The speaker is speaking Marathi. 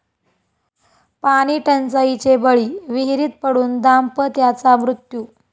पाणीटंचाईचे बळी, विहिरीत पडून दाम्पत्याचा मृत्यू